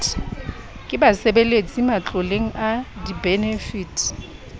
ke basebeletsi matloleng a dibenefiti